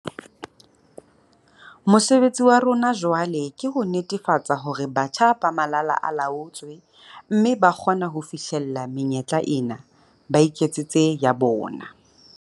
Mosebetsi wa rona jwale ke ho netefatsa hore batjha ba malala a laotswe mme ba kgona ho fihlella menyetla ena, ba iketsetse ya bona.